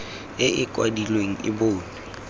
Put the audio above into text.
e e kwadilweng e bonwe